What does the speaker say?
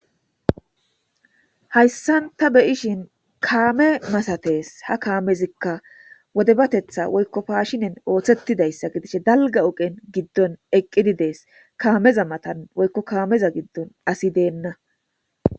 Hayssan ta beyishin kaame masatees ha kaamezikka wode batetha woykko paashinen ooththettidayssa gidish dalga ogen giddon eqqididees kaameza matan woykko kaameza giddon asi deenna.